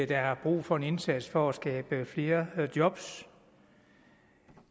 der er brug for en indsats for at skabe flere job